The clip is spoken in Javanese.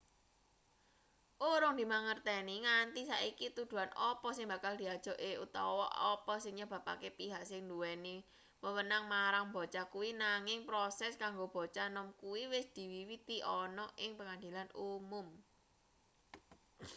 urung dimangerteni nganti saiki tuduhan apa sing bakal diajokke utawa apa sing nyebabake pihak sing nduweni wewenang marang bocah kuwi nanging proses kanggo bocah nom kuwi wis diwiwiti ana ing pengadilan umum